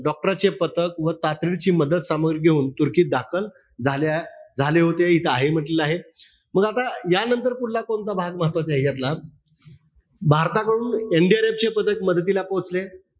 Doctor राचे पथक व तातडीची मदत सामुग्री घेऊन तुर्कीत दाखल झाल झाले होते. इथे आहे म्हण्टलेलं आहे. मग आता यानंतर पुढला कोणता भाग महत्वाचा आहे यातला? भारताकडून NDRF चे पथक मदतीला पोचले.